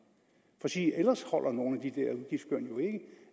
ellers holder nogle